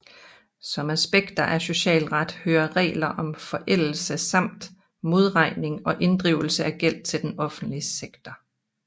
Som aspekter af socialret hører regler om forældelse samt modregning og inddrivelse af gæld til den offentlige sektor